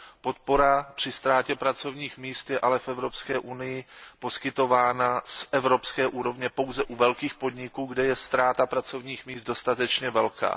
Podpora při ztrátě pracovních míst je ale v Evropské unii poskytována z evropské úrovně pouze u velkých podniků, kde je ztráta pracovních míst dostatečně velká.